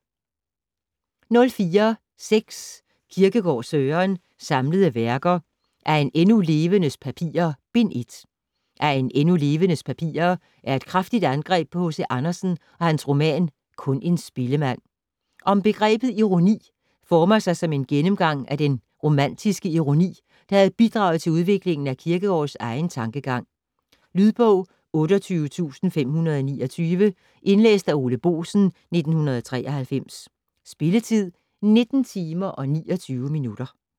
04.6 Kierkegaard, Søren: Samlede Værker: Af en endnu Levendes Papirer: Bind 1 "Af en endnu Levendes Papirer" er et kraftigt angreb på H.C. Andersen og hans roman "Kun en Spillemand". "Om begrebet Ironi" former sig som en gennemgang af den romantiske ironi, der havde bidraget til udviklingen af Kierkegårds egen tankegang. Lydbog 28529 Indlæst af Ole Boesen, 1993. Spilletid: 19 timer, 29 minutter.